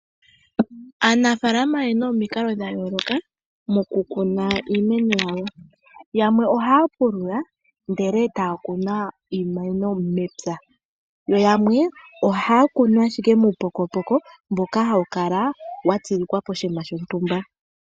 Aanafalama oyena omikalo dhayooloka moku kuna iimeno yawo , yamwe ohaya pulula ndele ta kunu iimeno mepya, yo yamwe ohaa kunu ashike muupokopoko mboka hawukala watsilikwa koshinima shontumba.